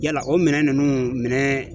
Yala o minɛn ninnu minɛn